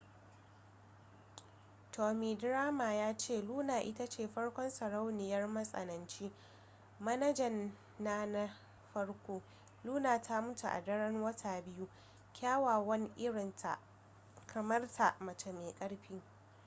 tommy dreamer ya ce luna ita ce farkon sarauniyar matsananci manajan na na farko luna ta mutu a daren wata biyu kyawawan irin ta kamar ta mace mai ƙarfi